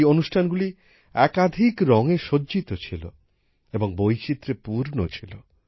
এই অনুষ্ঠানগুলি একাধিক রঙে সজ্জিত ছিল এবং বৈচিত্র্যে পূর্ণ ছিল